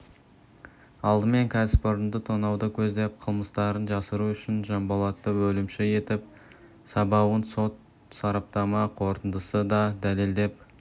алдымен кәсіпорынды тонауды көздеп қылмыстарын жасыру үшін жанболатты өлімші етіп сабауын сот-сараптама қорытындысы да дәлелдеп